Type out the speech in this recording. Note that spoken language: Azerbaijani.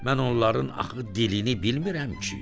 Mən onların axı dilini bilmirəm ki.